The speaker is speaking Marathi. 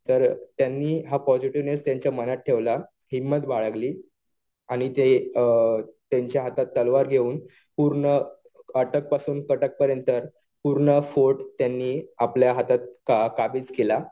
तर त्यांनी हा पॉजिटिव्हनेस त्यांच्या मनात ठेवला. हिंमत बाळगली. आणि ते त्यांच्या हातात तलवार घेऊन पूर्ण अटक पासून कटक पर्यंत पूर्ण फोर्ट त्यांनी आपल्या हातात काबीज केला.